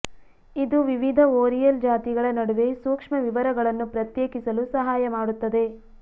ಇದು ವಿವಿಧ ಓರಿಯಲ್ ಜಾತಿಗಳ ನಡುವೆ ಸೂಕ್ಷ್ಮ ವಿವರಗಳನ್ನು ಪ್ರತ್ಯೇಕಿಸಲು ಸಹಾಯ ಮಾಡುತ್ತದೆ